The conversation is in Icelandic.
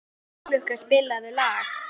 Bláklukka, spilaðu lag.